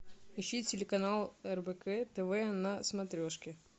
ищи телеканал рбк тв на смотрешке